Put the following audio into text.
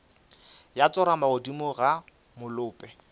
ya tsorama godimo ga molope